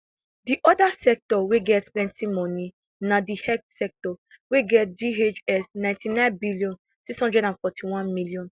di oda sector wey get plenti moni na di health sector wey get ghs ninety nine bn six hundred fourty one m